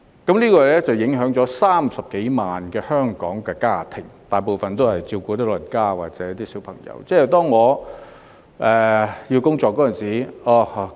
這樣會影響全港30多萬個家庭，他們大部分都有長者或小朋友需要照顧。